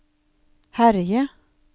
herje